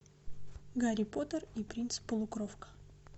гарри поттер и принц полукровка